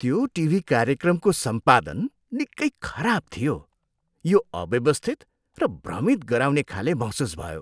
त्यो टिभी कार्यक्रमको सम्पादन निकै खराब थियो। यो अव्यवस्थित र भ्रमित गराउने खाले महसुस भयो।